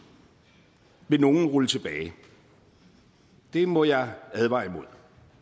vil nogle rulle tilbage det må jeg advare imod